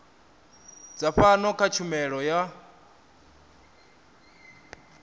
dza pfano kha tshumelo yo